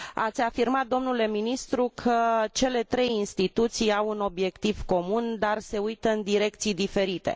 Ați afirmat, domnule ministru, că cele trei instituții au un obiectiv comun, dar se uită în direcții diferite.